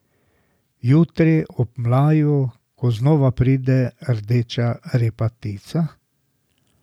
Jutri, ob mlaju, ko znova pride rdeča repatica?